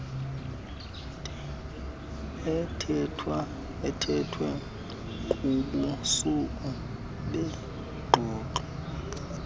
ethethwe kubushushu bengxoxo